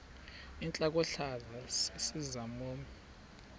intlokohlaza sesisaz omny